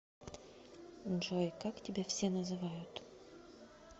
джой как тебя все называют